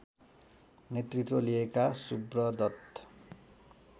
नेतृत्व लिएका सुब्रतदत